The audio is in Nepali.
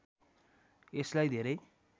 यसलाई धेरै